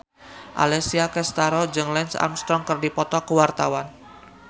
Alessia Cestaro jeung Lance Armstrong keur dipoto ku wartawan